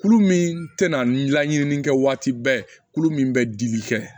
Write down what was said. Kulu min tɛna ɲini kɛ waati bɛɛ kulu min bɛ dili kɛ